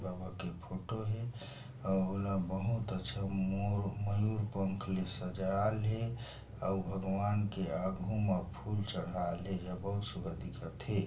बाबा के फोंटो हे आउ ऑल बहुत अच्छा मोर मयूर पंख सजा लिए अऊ भगवान के आघू म फूल चढ़ा ले हव दिखत हे ।